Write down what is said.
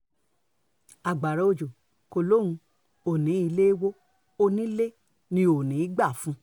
agbára òjò kọ́ lòun um ò ní ilé í wọ onílé ni ò ní í gbà um fún un